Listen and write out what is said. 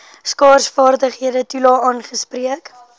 skaarsvaardighede toelae aangespreek